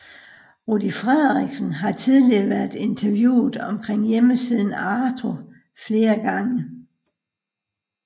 Rudy Frederiksen har tidligere været interviewet omkring hjemmesiden Arto flere gange